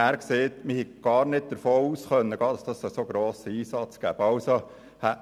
Er sagte mir, man habe nicht davon ausgehen können, dass es zu einem so grossen Einsatz kommen werde.